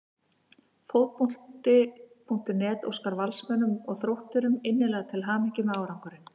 Fótbolti.net óskar Valsmönnum og Þrótturum innilega til hamingju með árangurinn.